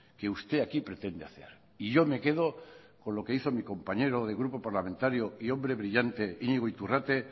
que usted aquí pretende hacer y yo me quedo con lo que hizo mi compañero de grupo parlamentario y hombre brillante iñigo iturrate